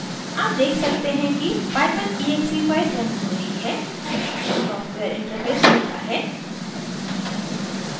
आप देख सकते हैं कि python exe फ़ाइल रन हो रही है सॉफ्टवेयर interface खुलता है